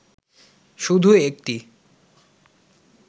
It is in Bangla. শুধু একটি